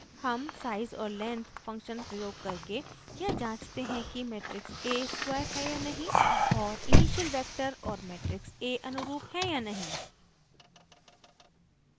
हम size और length function प्रयोग करके यह जांचते हैं कि मेट्रिक्स a स्क्वायर है या नहीं और इनिशियल वेक्टर और मेट्रिक्स a अनुरूप है या नहीं